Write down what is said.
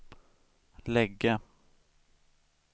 lägga